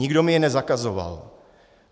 Nikdo mi je nezakazoval.